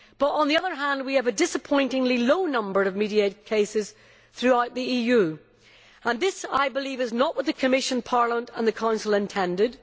On the other hand, however, we have a disappointingly low number of mediation cases throughout the EU and this, I believe, is not what the Commission, Parliament and the Council intended.